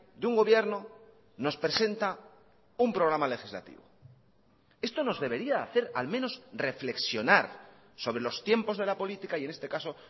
de un gobierno nos presenta un programa legislativo esto nos debería hacer al menos reflexionar sobre los tiempos de la política y en este caso